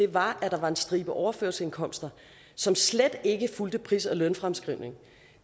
var at der var en stribe overførselsindkomster som slet ikke fulgte pris og lønfremskrivningen